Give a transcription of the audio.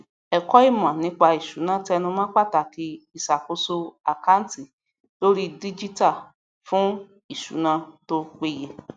ẹkọ ìmọ nípa ìṣúná tenumọ pàtàkì ìṣàkóso àkántì lórí díjítà fún isuná tó péye